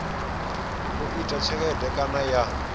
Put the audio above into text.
u ita tshelede kana ya